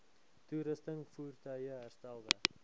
toerusting voertuie herstelwerk